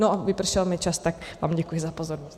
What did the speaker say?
No a vypršel mi čas, tak vám děkuji za pozornost.